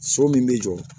So min bɛ jɔ